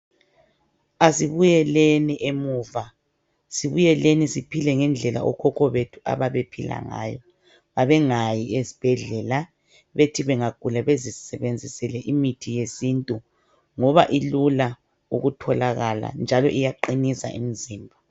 Asibuyeleni emuva, sibuyeleni siphile ngendlela abokhokho bethu ababephila ngayo. Babengayi esibhedlela, bethi bangagula bezisebenzisele imithi yesintu. Ngoba ilula ukutholakala njalo iyaqinisa umizimba.